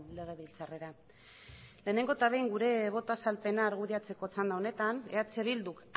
legebiltzarrera lehenengo eta behin gure boto azalpena argudiatzeko txanda honetan eh bilduk